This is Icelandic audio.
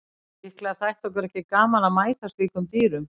Líklega þætti okkur ekki gaman að mæta slíkum dýrum.